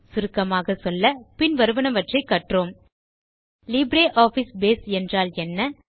சுருக்கமாக சொல்ல பின் வருவனவற்றை கற்றோம் லிப்ரியாஃபிஸ் பேஸ் என்றால் என்ன